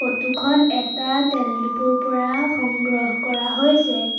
Photo খন এটা তেল ডিপোৰ পৰা সংগ্ৰহ কৰা হৈছে।